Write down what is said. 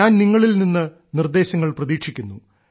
ഞാൻ നിങ്ങളിൽ നിന്ന് നിർദ്ദേശങ്ങൾ പ്രതീക്ഷിക്കുന്നു